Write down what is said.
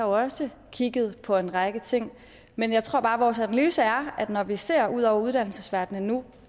også kigget på en række ting men jeg tror bare at vores analyse er at når vi ser ud over uddannelsesverdenen nu